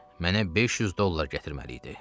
Mənə 500 dollar gətirməli idi.